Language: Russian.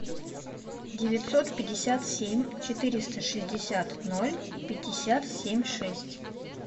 девятьсот пятьдесят семь четыреста шестьдесят ноль пятьдесят семь шесть